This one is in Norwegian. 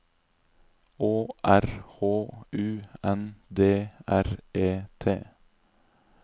Å R H U N D R E T